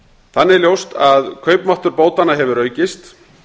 þannig er ljóst að kaupmáttur bótanna hefur aukist